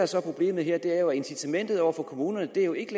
så er problemet her er at incitamentet over for kommunerne jo ikke